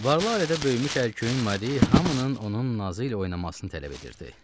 Varlı ailədə böyümüş ərköyün Mari hamının onun nazı ilə oynamasını tələb edirdi.